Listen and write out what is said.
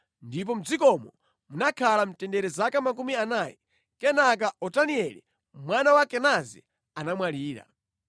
Ndipo mʼdzikomo munakhala mtendere zaka makumi anayi. Kenaka Otanieli mwana wa Kenazi anamwalira.